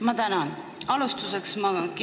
Ma tänan!